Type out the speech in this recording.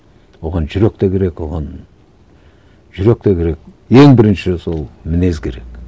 оған жүрек те керек оған жүрек те керек ең бірінші сол мінез керек